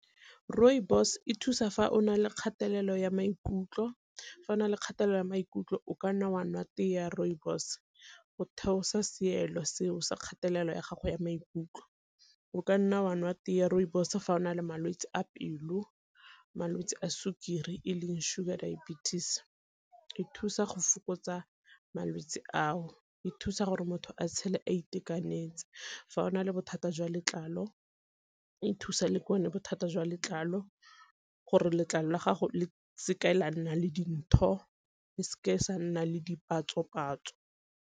Rooibos e thusa fa o nale kgatelelo ya maikutlo, fa o na le kgatelelo ya maikutlo o kanna wa ntate ya rooibos go theosa seelo seo se kgatelelo ya gago ya maikutlo. O ka nna wa nwa tee ya rooibos fa o na le malwetse a pelo, malwetsi a sukiri e leng sugar diabetes, e thusa go fokotsa malwetsi ao, e thusa gore motho a tshele a itekanetse. Fa o na le bothata jwa letlalo e thusa le bothata jwa letlalo gore letlalo la gago le seka la nna le dintho le seke la nna le dipatso-patso.